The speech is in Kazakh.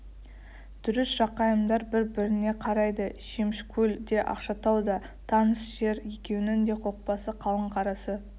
дұрыс жақайымдар бір-біріне қарайды шөмішкөл де ақшатау да таныс жер екеуінің де қопасы қалың қарасы